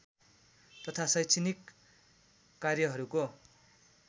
तथा शैक्षणिक कार्यहरूको